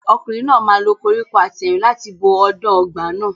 Ọkùnrin náà máa lo koríko àtẹ̀rìn láti bo ọ̀dàn ọgbà náà.